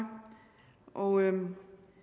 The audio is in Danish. og